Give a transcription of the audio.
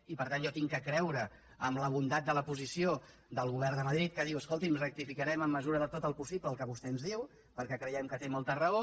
i per tant jo haig de creure en la bondat de la posició del govern de madrid que diu escolti’m rectificarem en mesura de tot el possible el que vostè ens diu perquè creiem que té molta raó